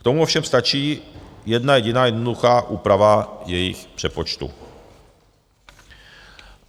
K tomu ovšem stačí jedna jediná jednoduchá úprava jejich přepočtu.